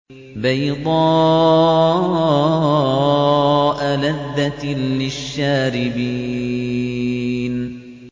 بَيْضَاءَ لَذَّةٍ لِّلشَّارِبِينَ